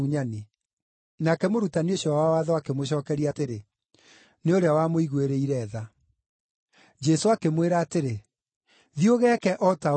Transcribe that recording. Nake mũrutani ũcio wa watho akĩmũcookeria atĩrĩ, “Nĩ ũrĩa wamũiguĩrĩire tha.” Jesũ akĩmwĩra atĩrĩ, “Thiĩ ũgeeke o ta ũguo.”